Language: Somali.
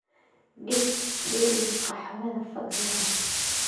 dhig dheriga qaxwada fadlan